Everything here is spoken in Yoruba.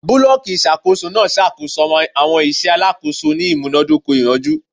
Bulọọki iṣakoso naa ṣakoso awọn iṣẹ iṣakoso ni imunadoko ni iṣaaju